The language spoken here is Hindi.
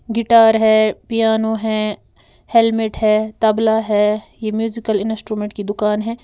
गिटार है पियानो है हेलमेट है तबला है यह म्यूजिकल इंस्ट्रूमेंट की दुकान है।